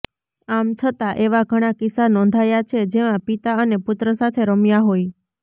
આમ છતાં એવા ઘણા કિસ્સા નોંધાયા છે જેમાં પિતા અને પુત્ર સાથે રમ્યા હોય